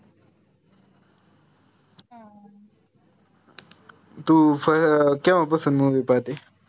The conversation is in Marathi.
तू अं केव्हा पासून movie पाहते